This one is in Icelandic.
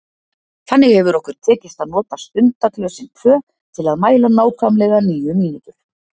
Þannig hefur okkur tekist að nota stundaglösin tvö til að mæla nákvæmlega níu mínútur.